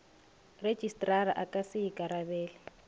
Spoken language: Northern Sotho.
rejistrara a ka se ikarabele